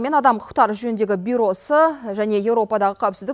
мен адам құқықтары жөніндегі бюросы және еуропадағы қауіпсіздік